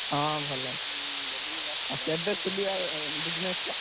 ହଁ, ଭଲ ଅଛନ୍ତି ଆଉ କେବେ ଖୋଲିଆ business ଟା?